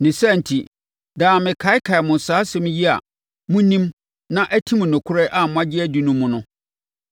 Ne saa enti, daa mekaakae mo saa asɛm yi a monim na atim nokorɛ a moagye adi no mu no.